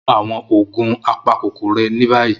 Mu awọn oogun apakokoro rẹ ni bayi!